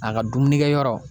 A ga dumunikɛyɔrɔ